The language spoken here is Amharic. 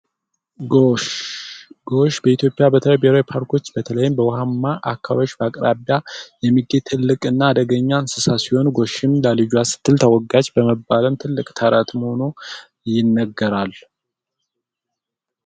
ጎሽ፡ ጎሽ በኢትዮጵያ በተለያዩ ፓርኮች በተለይም በውሃ አቅራቢያ የሚገኙ ትልቅ እና አደገኛ እንስሳ ሲሆን ጎሽም ለልጇ ስትል ተወጋች በሚል ትልቅ ተረት ይነገራል።